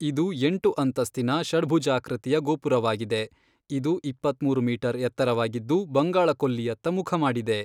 ಇದು ಎಂಟು ಅಂತಸ್ತಿನ, ಷಡ್ಭುಜಾಕೃತಿಯ ಗೋಪುರವಾಗಿದೆ, ಇದು ಇಪ್ಪತ್ಮೂರು ಮೀಟರ್ ಎತ್ತರವಾಗಿದ್ದು, ಬಂಗಾಳ ಕೊಲ್ಲಿಯತ್ತ ಮುಖಮಾಡಿದೆ.